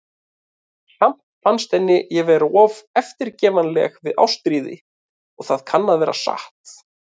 Samt fannst henni ég vera of eftirgefanleg við Ástríði, og það kann að vera satt.